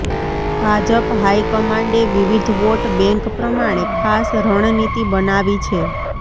ભાજપ હાઈકમાન્ડે વિવિધ vote bank પ્રમાણે ખાસ રણનીતિ બનાવી છે